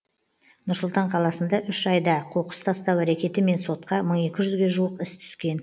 нұр сұлтан қаласында үш айда қоқыс тастау әрекетімен сотқа мың екі жүзге жуық іс түскен